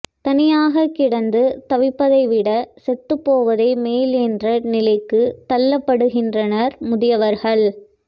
தனியாக கிடந்து தவிப்பதை விட செத்துப்போவதே மேல் என்ற நிலைக்குத் தள்ளப்படுகின்றனர் முதியவர்கள்